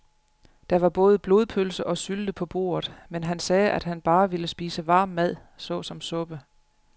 Der var både blodpølse og sylte på bordet, men han sagde, at han bare ville spise varm mad såsom suppe.